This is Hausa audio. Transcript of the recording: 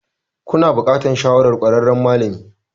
Kuna buƙatar shawarar ƙwararren malami.